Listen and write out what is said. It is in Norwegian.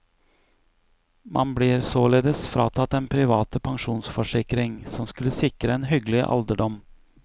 Man blir således fratatt den private pensjonsforsikring, som skulle sikre en hyggelig alderdom.